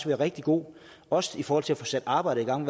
være rigtig god også i forhold til at få sat arbejdet i gang